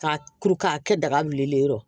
K'a kuru k'a kɛ daga wulilen ye